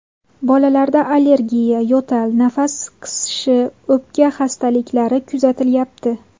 Bolalarda allergiya, yo‘tal, nafas qisishi, o‘pka xastaliklari kuzatilyapti.